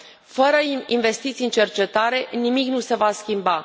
Fără investiții în cercetare, nimic nu se va schimba.